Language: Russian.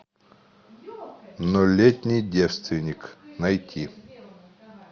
нолетний девственник найти